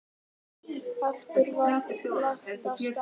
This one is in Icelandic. Aftur var lagt af stað.